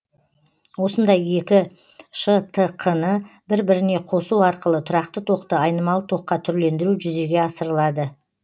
осындай екі штқ ны бір біріне қосу арқылы тұрақты токты айнымалы токқа түрлендіру жүзеге асырылады